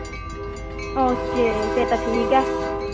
Okay ਫਿਰ ਤਾਂ ਠੀਕ ਆ।